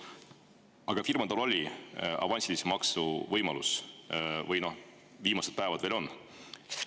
Aga firmadel oli avansilise maksu võimalus või see viimaseid päevi veel on.